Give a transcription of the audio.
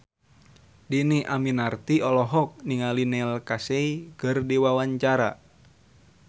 Dhini Aminarti olohok ningali Neil Casey keur diwawancara